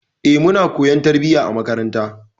Eh, muna koyon tarbiyya a makaranta.